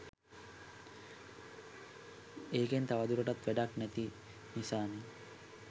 ඒකෙන් තව දුරටත් වැඩක් නැති නිසානෙ.